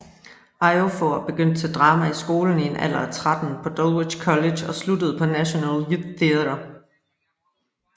Ejiofor begyndte til drama i skolen i en alder af tretten på Dulwich College og sluttede på National Youth Theatre